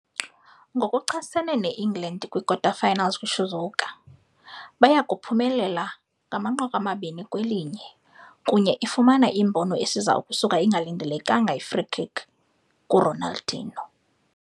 Ngokuchasene England kwi-kwikota-finals kwi - Shizuoka, baya uphumelele 2-1, kunye ifumana imbono esiza ukusuka i-engalindelekanga free-kick yi-Ronaldinho.